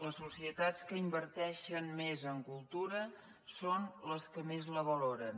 les societats que inverteixen més en cultura són les que més la valoren